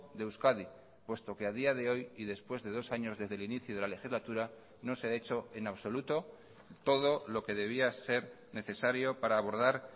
de euskadi puesto que a día de hoy y después de dos años desde el inicio de la legislatura no se ha hecho en absoluto todo lo que debía ser necesario para abordar